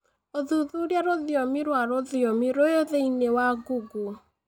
ũthuthurie rũthiomi rwa rũthiomi rũu thĩinĩ wa google